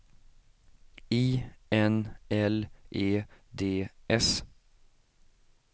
I N L E D S